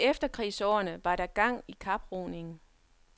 I efterkrigsårene var der gang i kaproningen.